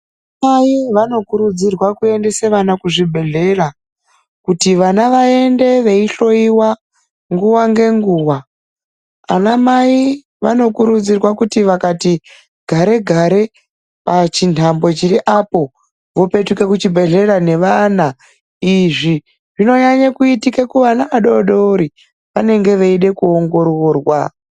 Anamai vanokurudzirwa kuendesa vana kuzvibhedhlera kuti vana vaende veihloiwa nguwa ngenguwa. Anamai vanokurudzirwa kuti vakati gare-gare pachintambo chiriapo vopetuka kuzvibhedhlera nevana, izvi zvinonyanya kuitika kuvana vadodori vanenge veide kuongororwa.